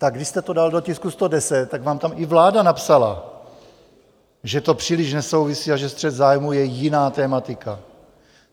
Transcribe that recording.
Tak když jste to dal do tisku 110, tak vám tam i vláda napsala, že to příliš nesouvisí a že střet zájmů je jiná tematika.